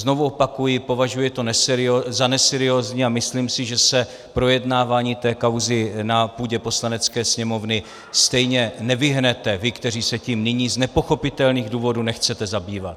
Znovu opakuji, považuji to za neseriózní a myslím si, že se projednávání té kauzy na půdě Poslanecké sněmovny stejně nevyhnete, vy, kteří se tím nyní z nepochopitelných důvodů nechcete zabývat.